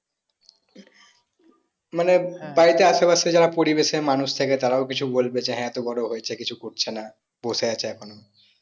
মানে বাড়ীতে আশেপাশে যারা পরিবেশ এর মানুষ থাকে তারাও কিছু বলবে যে হ্যাঁ এতো বড়ো হয়েছে কিছু করছেনা বসে আছে এখনো